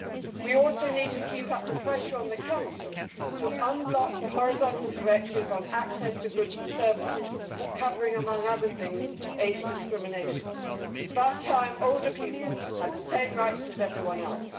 We also need to keep up the pressure on the Council to unblock the horizontal directive on access to goods and services, covering, among other things, age discrimination. It is about time older people had the same rights as everyone else.